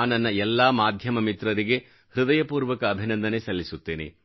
ಆ ನನ್ನ ಎಲ್ಲಾ ಮಾಧ್ಯಮ ಮಿತ್ರರಿಗೆ ಹೃದಯಪೂರ್ವಕ ಅಭಿನಂದನೆ ಸಲ್ಲಿಸುತ್ತೇನೆ